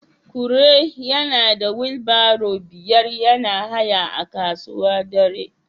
Kure yana da wheelbarrow biyar yana haya a kasuwa dare